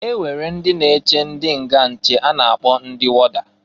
E nwere ndị na-eche ndị nga nche a na-akpọ ndị wọda.